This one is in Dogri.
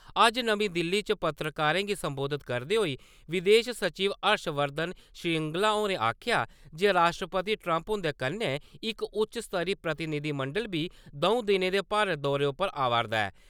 अज्ज नमीं दिल्ली च पत्रकारें गी सम्बोधत करदे होई विदेश सचिव हर्ष वर्धन श्रींगला होरें आखेआ जे राश्ट्रपति ट्रम्प हुंदे कन्नै इक उच्च स्तरी प्रतिनिधिमंडल बी द'ऊं दिनें दे भारत दौरे उप्पर आवा'रदा ऐ ।